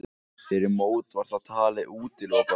Fyrir mót var það talið útilokað.